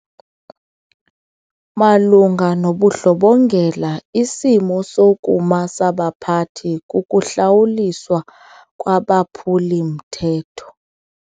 Malunga nobundlobongela isimo sokuma sabaphathi kukuhlawuliswa kwabaphuli-mthetho.